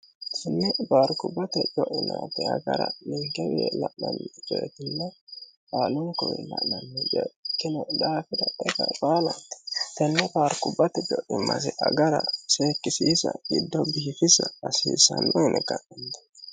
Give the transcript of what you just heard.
sini baarkubbate co'inaati agara ninkewie lamnni riretinn aalunkui ha'nanni ekino dhaafida dhega bhaalati tenne baarkubbate jo'i masi agara seekkisiisa giddobbi hifisa asiisanno ine ga'ninne